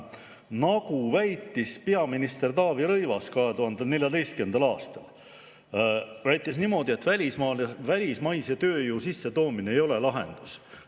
Nagu väitis peaminister Taavi Rõivas 2014. aastal, siis välismaise tööjõu sissetoomine ei ole lahendus.